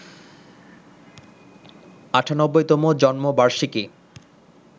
৯৮তম জন্মবার্ষিকী